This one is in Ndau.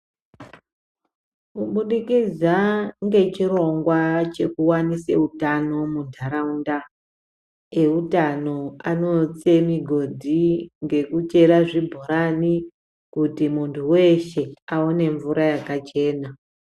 Kubudikidza ngechirongwa chekuwanise utano mundaraunda, ewutano anotse migodhi ngekuchera zvibhorani, kuti muntu weshe awone mvura yakachena.